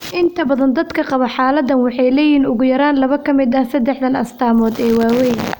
Inta badan dadka qaba xaaladdan waxay leeyihiin ugu yaraan laba ka mid ah saddexdan astaamood ee waaweyn.